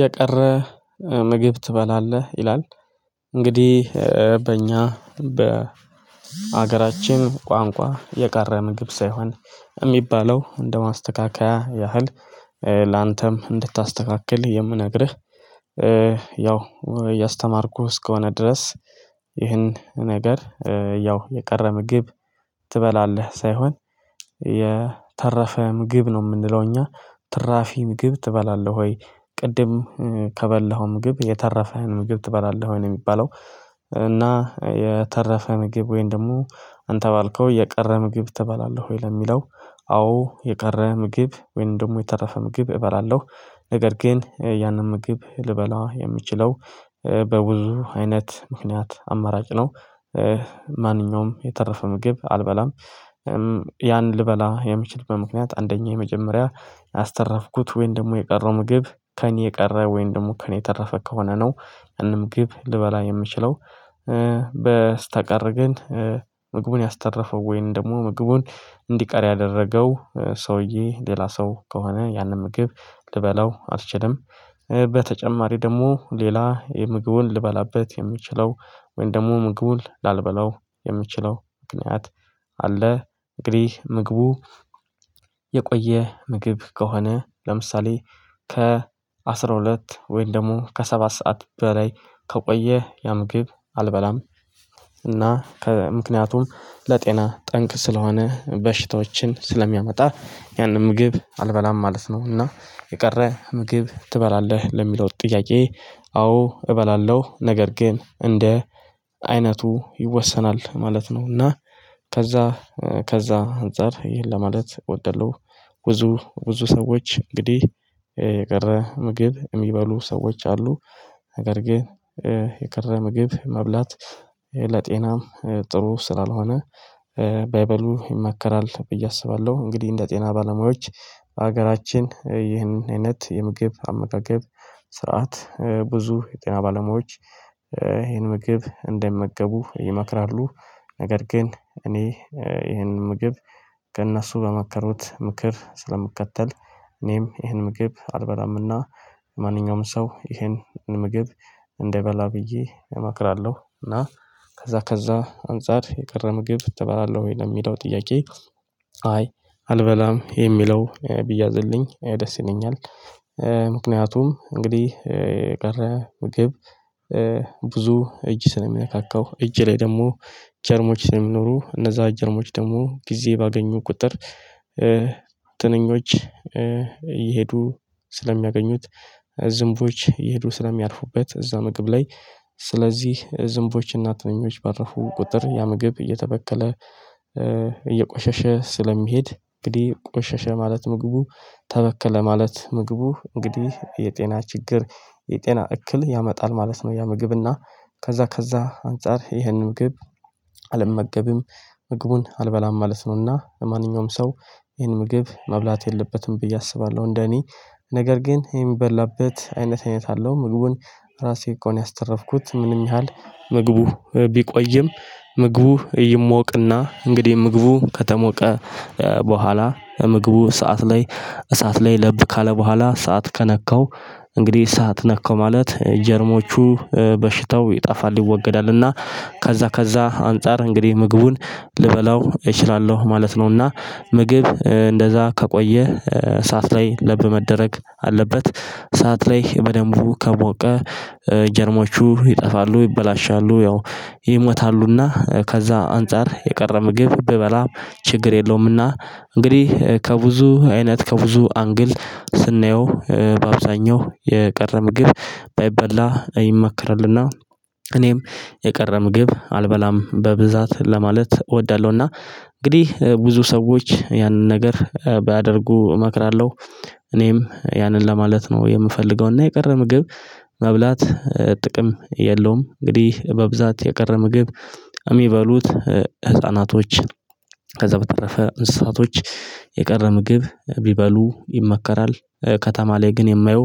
የቀረ ምግብ ትበላለህ ይላል? እንግዲህ በእኛ በሀገራችን ቋንቋ የቀረ ምግብ ሳይሆን የሚባለው እንደማስተካከያ ያህል ላንተም እንድታስተካክል የምነግርህ። ያው እያስተማርኩህ እስከሆነ ድረስ። ይህን ነገር ያው የቀረ ምግብ ትበላለህ ሳይሆን የተረፈ ምግብ ነው የምንለው። እኛ ትራፊ ምግብ ትበላለህ ወይ ቅድም ከበላኸው ምግብ የተረፈ ምግብ ትበላለህ ወይ ነው የሚባለው። እና የተረፈ ምግብ ወይንም ደግሞ አንተ ባልከው የቀረ ምግብ ትበላለህ ወይ ለሚለው? አዎ የቀረ ምግብ ወይም ደግሞ የተረፈ ምግብ እበላለሁ። ነገር ግን ያንን ምግብ ልበላ የምችለው በብዙ አይነት ምክንያት አማራጭ ነው። ማንኛውም የተረፈ ምግብ አልበላም። ያን ልበላ የምችልበት ምክንያት አንደኛው የመጀመሪያ ያስተረፍኩት ወይም ደግሞ የቀረው ምግብ ከእኔ የቀረ ወይም ደግሞ ከእኔ ተረፈ ከሆነ ነው ምንም ግብ ልበላ የምችለው። በስተቀር ግን ምግቡን ያስተረፈው ወይንም ደግሞ ምግቡን እንዲቀር ያደረገው ሰውዬ ሌላ ሰው ከሆነ ያንን ምግብ ልበላው አልችልም። በተጨማሪ ደግሞ ሌላ የምግቡን ልበላበት የምችለው ወይንም ደግሞ ምግቡን ላልበላው የምችለው ምክንያት አለ። እንግዲህ ምግቡ የቆየ ምግብ ከሆነ ለምሳሌ ከ አስራ ሁለት ወይም ደግሞ ከሰባት ሰዓት በላይ ከቆየ ያ ምግብ አልበላም። እና ከምክንያቱም ለጤና ጠንቅ ስለሆነ በሽታዎችን ስለሚያመጣ ያንን ምግብ አልበላም ማለት ነው። እና የቀረ ምግብ ትበላለህ ለሚለው ጥያቄ አዎ እበላለሁ። ነገር ግን እንደ አይነቱ ይወሰናል ማለት ነውና። ከዛ ከዛ አንፃር ይህን ለማለት እወዳለሁ። ብዙ ብዙ ሰዎች እንግዲህ የቀረ ምግብ የሚበሉ ሰዎች አሉ። ነገር ግን የቀረ ምግብ መብላት ለጤናም ጥሩ ስላልሆነ ባይበሉ ይመከራል ብዬ አስባለሁ። እንግዲህ እንደ ጤና ባለሙያዎች ሀገራችን ይህንን አይነት የምግብ አመጋገብ ስርዓት ብዙ የጤና ባለሙያዎች ይህን ምግብ እንዳይመገቡ ይመክራሉ። ነገር ግን እኔ ይህን ምግብ ከእነሱ በመከሩት ምክር ስለምከተል እኔም ይህን ምግብ አልበላምና ማንኛውም ሰው ይሄንን ምግብ እንዳይበላ ብዬ እመክራለሁ። እና ከዛ ከዛ አንፃር የቀረ ምግብ ትበላለህ ወይ ለሚለው ጥያቄ? አይ አልበላም የሚለው ቢያዝልኝ ደስ ይለኛል። ምክንያቱም እንግዲህ ቀረ ምግብ ብዙ እጅ ስለሚነካካው እጅ ላይ ደግሞ ጀርሞች ስለሚኖሩ እነዛ ጀርሞች ደግሞ ጊዜ ባገኙ ቁጥር። ትንኞች እየሄዱ ስለሚያገኙት ዝንቦች ይሄዱ ስለሚያርፉበት እዛ ምግብ ላይ። ስለዚህ ዝንቦች እናትነኞች ባረፉ ቁጥር ያ ምግብ እየተበከለ እየቆሸሸ ስለሚሄድ እንግዲህ ቆሸሸ ማለት ምግቡ ተበከለ ማለት ምግቡ እንግዲህ የጤና ችግር የጤና እክል ያመጣል ማለት ነው። ያ ምግብና ከዛ ከዛ አንፃር ይህንን ምግብ አልመገብም። ምግቡን አልበላም ማለት ነውና ለማንኛውም ሰው ይሄን ምግብ መብላት የለበትም ብዬ አስባለሁ። እንደኔ ነገር ግን የሚበላበት አይነት አይነት አለው ምግቡን ራሴ ከሆነ ያስተረፍኩት ምንም ያህል ምግቡ ቢቆይም ምግቡ ይሞቅና እንግዲህ ምግቡ ከተሞቀ በኋላ ምግቡ እሳት ላይ እሳት ላይ ለብ ካለ በኋላ እሳት ከነካው እንግዲህ እሳት ነካው ማለት ጀርሞቹ በሽተው ይጠፋል። ይወገዳልና ከዛ ከዛ አንፃር እንግዲህ ምግቡን ልበላው እችላለሁ ማለት ነውና። ምግብ እንደዛ ከቆየህ እሳት ላይ ለብ መደረግ አለበት እሳት ላይ በደንቡ ከሞቀ ጀርሞቹ ይጠፋሉ። ይበላሻሉ ያው ይሞታሉና ከዛ አንፃር የቀረ ምግብ ብበላ ችግር የለውምና እንግዲህ ከብዙ አይነት ከብዙ አንግል ስናየው በአብዛኛው የቀረ ምግብ ባይበላ ይመከራልና። እኔም የቀረ ምግብ አልበላም በብዛት ለማለት እወዳለሁና እንግዲህ ብዙ ሰዎች ያንን ነገር ባያደርጉ እመክራለሁ። እኔም ያንን ለማለት ነው የምፈልገው እና የቀረ ምግብ መብላት ጥቅም የለውም። እንግዲህ በብዛት የቀረ ምግብ የሚበሉት ህፃናቶች ከዛ በተረፈ እንስሳቶች የቀረ ምግብ ቢበሉ ይመከራል። ከተማ ላይ ግን የማየው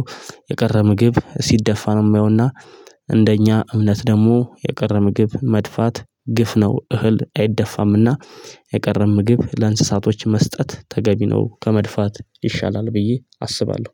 የቀረ ምግብ ሲደፋ ነው የማየውና። እንደኛ እምነት ደግሞ የቀረ ምግብ መድፋት ግፍ ነው እህል አይደፋምና። የቀረ ምግብ ለእንስሳቶች መስጠት ተገቢ ነው ከመድፋት ይሻላል ብዬ አስባለሁ።